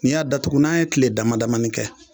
Ni y'a datugu n'a ye kile dama damani kɛ